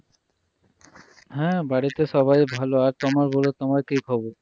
হ্যাঁ বাড়িতে সবাই ভালো আর তোমার বলো তোমার কি খবর